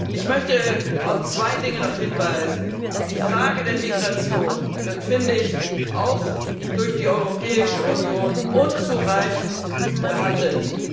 Ich möchte noch auf zwei Dinge hinweisen Die Frage der Migration wird auch durch die Europäische Union unzureichend behandelt.